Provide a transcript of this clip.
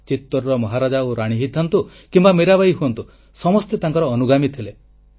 ଚିତୋରର ମହାରାଜା ଓ ରାଣୀ ହୋଇଥାନ୍ତୁ କିମ୍ବା ମୀରାବାଈ ହୁଅନ୍ତୁ ସମସ୍ତେ ତାଙ୍କର ଅନୁଗାମୀ ଥିଲେ